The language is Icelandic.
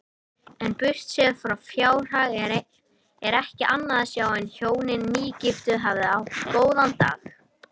En burtséð frá fjárhag er ekki annað sjá en hjónin nýgiftu hafi átt góða daga.